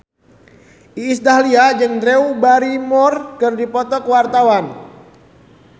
Iis Dahlia jeung Drew Barrymore keur dipoto ku wartawan